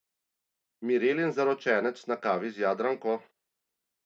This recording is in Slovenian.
Mirelin zaročenec na kavi z Jadranko?